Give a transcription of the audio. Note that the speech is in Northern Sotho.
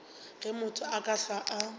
ge motho a ka hlwa